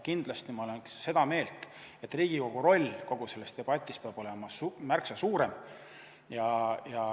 Kindlasti olen ma seda meelt, et Riigikogu roll kogu selles debatis peab olema märksa suurem.